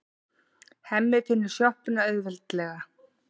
Hemmi finnur sjoppuna auðveldlega.